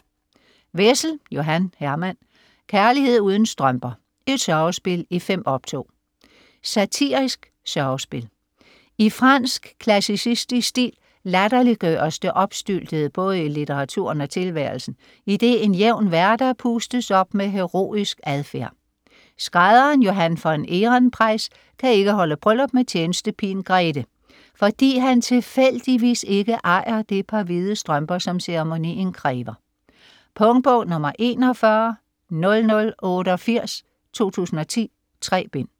Wessel, Johan Herman: Kærlighed uden strømper: et sørgespil i 5 optog Satirisk sørgespil. I fransk klassicistisk stil latterliggøres det opstyltede både i litteraturen og tilværelsen, idet en jævn hverdag pustes op med heroisk adfærd. Skrædderen Johan von Ehrenpreis kan ikke holde bryllup med tjenestepigen Grethe, fordi han tilfældigvis ikke ejer det par hvide strømper, som ceremonien kræver. Punktbog 410088 2010. 3 bind.